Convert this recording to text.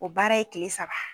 O baara ye kile saba.